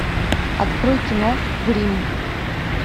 открой кино гримм